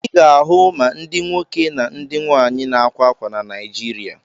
Ị ga-ahụ ma ndị nwoke na ndị nwaanyị na-ákwā ákwà na Naịjirịa.